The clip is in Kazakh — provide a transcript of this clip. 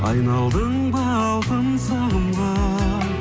айналдың ба алтын сағымға